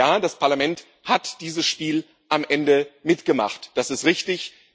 Und ja, das Parlament hat dieses Spiel am Ende mitgemacht, das ist richtig.